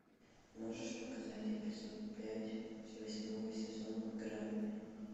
можешь показать эпизод пять восьмого сезона грань